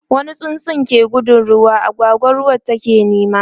wani tsuntsu ke gudun ruwa, agwagwa ruwan take nema